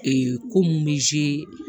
ko mun bɛ